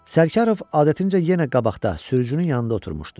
Sərkarov adətincə yenə qabaqda, sürücünün yanında oturmuşdu.